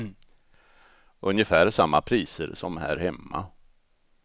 Ungefär samma priser som här hemma.